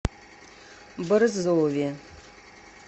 борзове